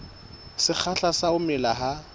sekgahla sa ho mela ha